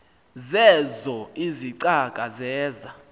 zeezo izicaka zeza